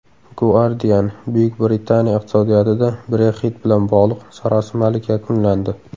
Guardian: Buyuk Britaniya iqtisodiyotida Brexit bilan bog‘liq sarosimalik yakunlandi.